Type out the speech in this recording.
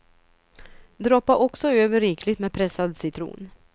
Droppa också över rikligt med pressad citron.